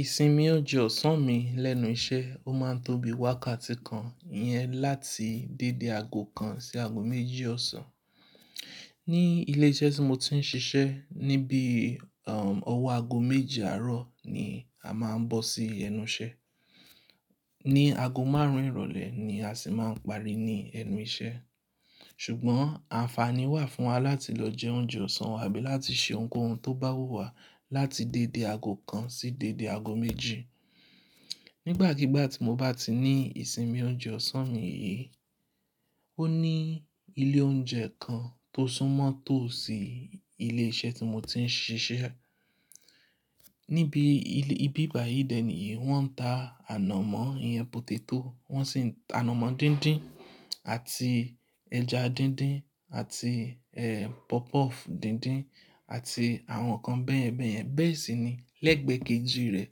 Ìsinmi oúnjẹ ọ̀sán mi lẹ́nu iṣẹ́, ó máa ń tóbi wákàtí kan yẹn láti dédé aago kan sí aago méjì ọ̀sán. Ni ilé iṣẹ́ tí mo ti ń ṣiṣẹ́ níbí, um, ọwọ́ aago méje àárọ̀ ni a máa ń bọ́ sí ẹnu iṣẹ́. Ni aago márùn-ún ìrọ̀lẹ́ ni a sì máa ń parí ní ẹnu iṣẹ́. Ṣùgbọ́n àǹfààní wà fún wa láti lọ jẹ oúnjẹ ọ̀sán wa àbí láti ṣe ohunkóhun tó bá wù wá láti dédé aago kan sí dédé aago méjì. Nígbàkigbà tí mo bá ti ní ìsinmi oúnjẹ ọ̀sán mi yìí, ó ní ilé oúnjẹ kan tó súnmọ́ tò sí ilé iṣẹ́ tí mo ti ń ṣiṣẹ́. Níbi ibi báyìí dè ní wọ́n ń ta ànàmọ́, iyán, potato, wọ́n sì ń-- ànàmọ́ díndín àti ẹja díndín àti, ẹ́, puff puff díndín àti àwọn nǹkan báyẹn báyẹn Bẹ́ẹ̀ sì ni lẹ́gbẹ̀ẹ́ kejì rẹ̀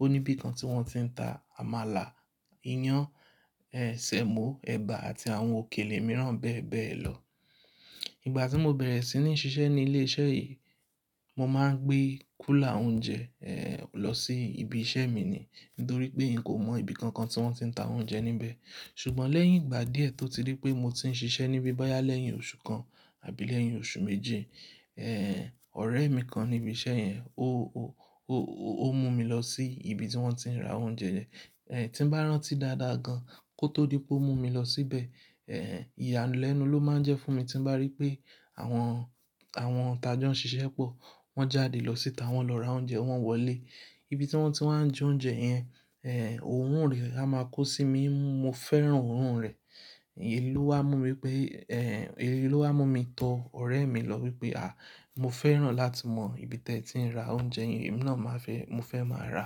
ó ní ibi kan tí wọ́n ti ń ta àmàlà, iyán, ẹ́, sẹ̀mọ́, ẹ̀bà àti àwọn òkèlè mìíràn bẹ́ẹ̀ bẹ́ẹ̀ lọ. Ìgbà tí mo bẹ̀rẹ̀ sí ní ṣiṣẹ́ ní ilé iṣẹ́ yìí, mo máa ń gbé kúlà oúnjẹ, ẹ́, lọ sí ibi iṣẹ́ mi ni nítorí pé n kò mọ ibi kankan tí wọ́n ti ń ta oúnjẹ níbẹ̀. Ṣùgbọ́n lẹ́yìn ìgbà díẹ̀ tó ti rí pé mo ti ń ṣiṣẹ́ níbí bọ́yá lẹ́yìn oṣù kan àbí lẹ́yìn oṣù méji, ẹ́, ọ̀rẹ́ mi kan níbi iṣẹ́ yẹn ó, ó, ó, ó, ó mú mi lọ sí ibi tí wọ́n ti ń ra oúnjẹ. Ẹ̀, tí bá rántí dáadáa gan kò tó dí pé ó mú mi lọ síbẹ̀. Ẹ́, ìyàlénu ló máa ń jẹ́ fún mi tí bá rí pé àwọn, àwọn tajọ́ ń ṣiṣẹ́ pọ̀, wọ́n jáde lọ síta, wọ́n lọ ra oúnjẹ, wọ́n wọlé. Ibi tí wọ́n ti máa ń jẹ oúnjẹ yẹn, ẹ́, òórùn rẹ̀ a máa kó sí mi nímú. Mo fẹ́ràn òórùn rẹ̀. Èyí ló wá mú mi pé, ẹ́, èyí ló wá mú mi tọ ọ̀rẹ́ mi lọ wípé, "à, mo fẹ́ràn láti mọ ibi tí ẹ ti ń ra oúnjẹ yẹn, èmi náà máa fẹ́, mo fẹ́ máa ra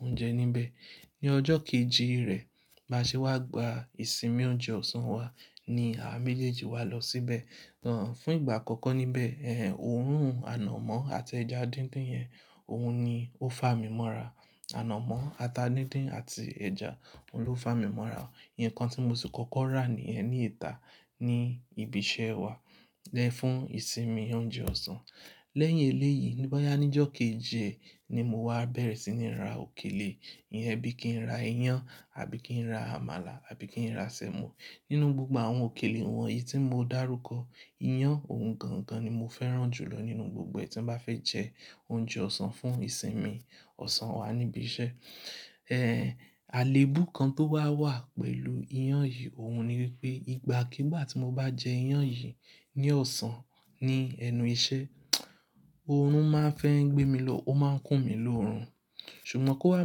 oúnjẹ níbẹ̀." Ni ọjọ́ kejì rẹ̀ bá ṣe wá gba ìsinmi oúnjẹ ọ̀sán wa ni àá méjèèjì wa lọ síbẹ̀. Tán, fún ìgbà àkọ́kọ́ níbẹ̀, ẹ́, òórùn ànàmọ́ àti ẹja díndín yẹn, òun ni ó fà mí mọ́ra. Ànàmọ́ ata díndín àti ẹja, òun ló fà mí mọ́ra. Nǹkan tí mo sì kọ́kọ́ rà ní ẹni ìta ní ibi iṣẹ́ wa lẹ́ fún ìsinmi oúnjẹ ọ̀sán. Lẹ́yìn eléyìí bọ́yá ní ọjọ́ kejì ni mo wá bẹ̀rẹ̀ sí ní ra òkèlè. Iyẹn bí kí n ra iyán àbí kí n ra àmàlà àbí kí n ra sẹ̀mọ́. Nínú gbogbo àwọn òkèlè wọ̀nyí tí mo dá rúkọ, iyán ohun gangan ni mo fẹ́ràn jù lọ nínú gbogbo ẹ́ tí mo bá fẹ́ jẹ oúnjẹ ọ̀sán fún ìsinmi ọ̀sán wa níbi iṣẹ́. Ẹ́, àléébú kan tó wá wà pẹ̀lú iyán yìí, òun ni wípé ìgbàkígbà tí mo bá jẹ iyán yìí ní ọ̀sán ní ẹnu iṣẹ́, òórùn máa ń fẹ́ ń gbé mi lọ, ó máa ń kún mi lórùn. Ṣùgbọ́n kó wá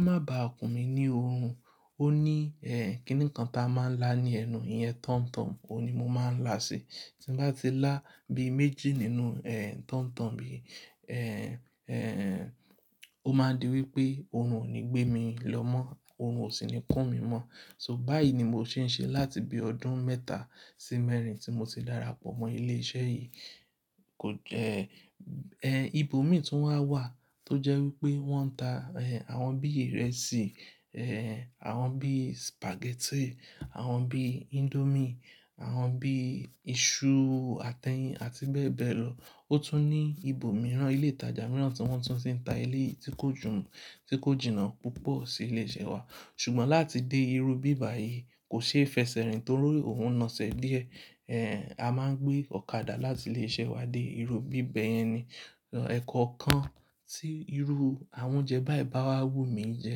má ba à kún mi ní òórùn, ó ní, ẹ́, kí nǹkan ta máa ń lá ní ẹnu. Iyẹn tọ̀mtọ̀m, òun ni mo máa ń là sí. Tí n bá ti lá bí méjì nínú, ẹ́, tọ̀mtọ̀m yìí, ẹ́, ẹ́, ó máa di wípé òórùn ò ní gbé mi lọ mọ́, òórùn ò sì ní kún mi mọ́. So báyìí ni mo ṣe ń ṣe láti bí ọdún mẹ́ta sí mẹ́rin tí mo ti darapọ̀ mọ́ ilé iṣẹ́ yìí. Kò jẹ́, ẹ́, ibo mì tí wọ́n wà tó jẹ́ wípé wọ́n ń ta, ẹ́, àwọn bí ìrẹsì, ẹ́, àwọn bí spaghetti, àwọn bí indomie, àwọn bí iṣu atẹyin àti bẹ́ẹ̀ bẹ́ẹ̀ lọ. Ó tún ní ibo mìíràn, ilé ìtajà mìíràn tí wọ́n tún ti ń ta eléyìí tí kò jù ń, tí kò jìnnà púpọ̀ sí ilé iṣẹ́ wa. Ṣùgbọ́n láti dé irú bíbà yìí kò ṣeéfẹ́ṣẹ rìn torí òun naṣẹ́ díẹ̀. Ẹ́, a máa ń gbé ọ̀kadà láti ilé iṣẹ́ wa dé irú bíbà yẹn ni. Ọ̀, ẹ̀kọ̀kan tí irú àwọn oúnjẹ báyìí bá wá wù mí jẹ,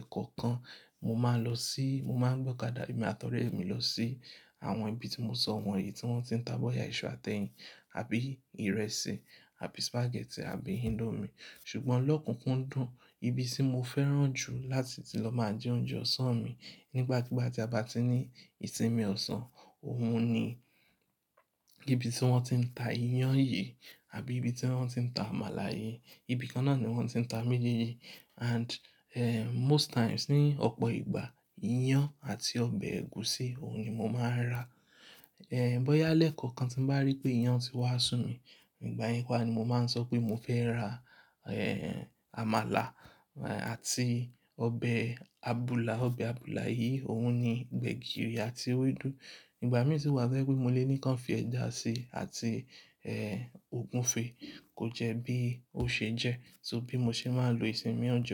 ẹ̀kọ̀kan mo máa lọ sí, mo máa ń gbé ọ̀kadà mi àti ọ̀rẹ́ mi lọ sí àwọn ibi tí mo sọ wọ̀nyí tí wọ́n ti ń ta bọ́yá iṣu atẹyin àbí ìrẹsì àbí spaghetti àbí indomie. Ṣùgbọ́n lọ́kùnkúndùn ibi tí mo fẹ́ràn jù láti ti lọ máa jẹ oúnjẹ ọ̀sán mi nígbàkigbà tí a bá ti ní ìsinmi ọ̀sán, òun ni ibi tí wọ́n ti ń ta iyán yìí àbí ibi tí wọ́n ti ń ta àmàlà yìí. Ibi kan náà ni wọ́n ti ń ta méjèèjì and, ẹ́, most times, ní ọ̀pọ̀ ìgbà, iyán àti ọbẹ̀ ẹ̀gúsí òun ni mo máa ń rà. Ẹ̀, bọ́yá lẹ́ẹ̀kọ̀kan tí n bá rí pé iyán ti wá sú mi, ìgbà yẹn pa á ni mo máa ń sọ pé mo fẹ́ ra, ẹ́, àmàlà àti ọbẹ̀ àbùlà. Ọbẹ̀ àbùlà yìí òun ni gbẹ̀gìrì àti ewédú. Ìgbà mìíràn tí kò bá jẹ́ wípé mo lè ní ká ń fi ẹ̀ja síi àti, ẹ́, ògúnfe kó jẹ́ bí ó ṣe jẹ́ so bí mo ṣe máa ń lo ìsinmi oúnjẹ.